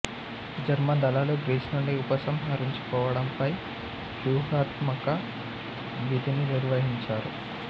German దళాలు Greece నుండి ఉపసంహరించుకోవడంపై వ్యూహాత్మక విధిని నిర్వహించారు